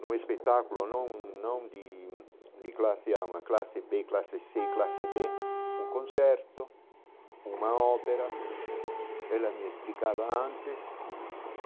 num espetáculo, não não de de classe á, uma classe bê, classe cê, classe dê, um concerto, uma ópera, ela me explicava antes.